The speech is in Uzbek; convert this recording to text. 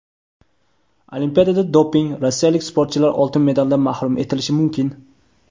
Olimpiadada doping: Rossiyalik sportchilar oltin medaldan mahrum etilishi mumkin.